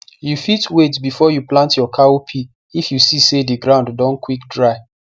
you fit wait before you plant your cowpea if you see sey the ground don quick dry